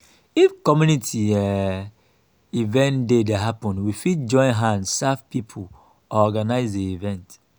if community um event dey happen we fit join hand serve pipo or organise di event